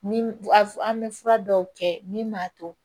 Ni a f an bɛ fura dɔw kɛ min b'a to